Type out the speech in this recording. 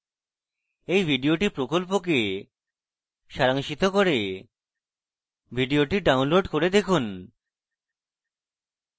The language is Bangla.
এই video প্রকল্পকে সারাংশিত করে video download করে দেখুন